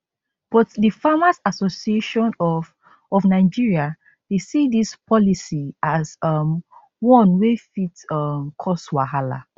but di farmers association of of nigeria dey see dis policy as um one wey fit um cause wahala